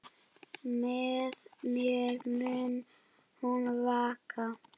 Með mér mun hún vaka.